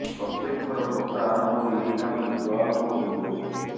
ପ୍ରତ୍ୟେକ ଥର ବର୍ଷା ଆରମ୍ଭରୁ ଏହି ଗ୍ରାମଟି ଜଳାର୍ଣ୍ଣବ ହୋଇପଡୁଛି